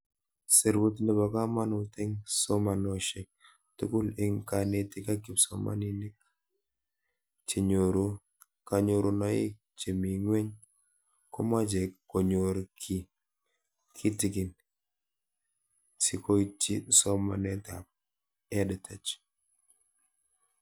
Serut nepo kamanut eng' somanoshek tugul eng'kanetik ak kipsomanik che nyoru kanyorunoik chemii ng'wen komache konyor kiy kitigin sikoitchi somanet ab EdTech